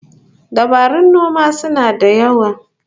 Dabarun noma suna da yawa